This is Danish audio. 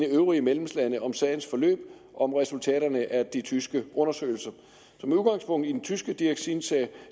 øvrige medlemslande om sagens forløb og om resultaterne af de tyske undersøgelser så med udgangspunkt i den tyske dioxinsag